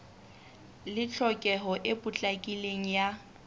le tlhokeho e potlakileng ya